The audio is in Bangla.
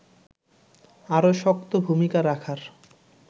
আরও শক্ত ভূমিকা রাখার